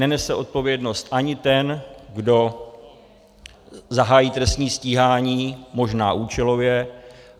Nenese odpovědnost ani ten, kdo zahájí trestní stíhání možná účelově.